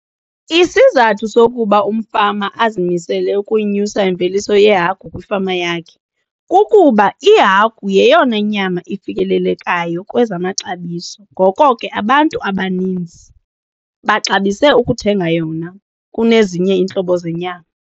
Isizathu sokuba umfama azimisele ukunyusa imveliso yehagu kwifama yakhe kukuba ihagu yeyona nyama ifikelelekayo kwezamaxabiso ngoko ke abantu abaninzi baxabise ukuthenga yona kunezinye iintlobo zenyama.